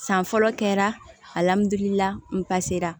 San fɔlɔ kɛra